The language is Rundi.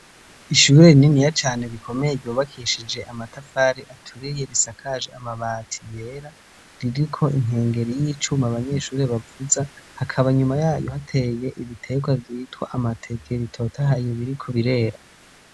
Ishure rininiya cane rikomeye ryubakishije amatafari aturiye, risakaje amabati yera, ririko inkengeri y'icuma abanyeshuri bavuza, hakaba inyuma yayo hateye ibitegwa vyitwa amateke bitotahaye biriko kubirera.